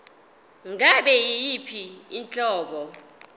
ngabe yiyiphi inhlobo